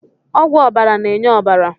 Ọgwụ ọbara na-enye ọbara